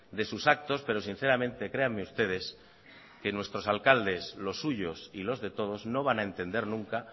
de sus actos pero sinceramente créanme ustedes que nuestros alcaldes los suyos y los de todos no van a entender nunca